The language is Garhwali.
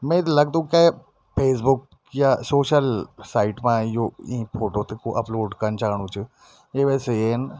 मेत लगदु कैक फेसबुक या सोशल साईट मा यू ई फोटो ते कु अपलोड कन च्याणु च ये वैसे येन।